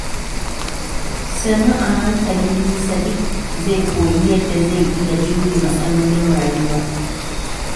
Sannu a hankali, Sadiq zai koyi yadda zai iya jure matsalolin rayuwa.